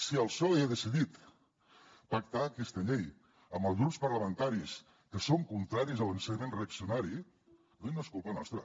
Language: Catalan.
si el psoe ha decidit pactar aquesta llei amb els grups parlamentaris que són contraris a l’ensenyament reaccionari no és culpa nostra